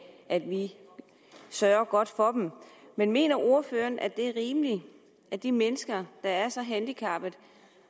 at vi sørger godt for dem mener ordføreren at det er rimeligt at de mennesker der er så handicappet